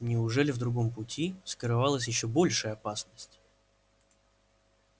неужели в другом пути скрывалась ещё большая опасность